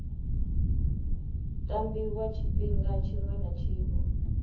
tambiwa tshifhinga tshiṅwe na tshiṅwe